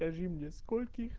скажи мне скольких